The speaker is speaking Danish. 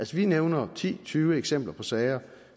vi nævner ti tyve eksempler på sager